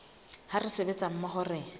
ha re sebetsa mmoho re